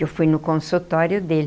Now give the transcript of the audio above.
Eu fui no consultório dele.